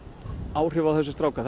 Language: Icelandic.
áhrif á þessa stráka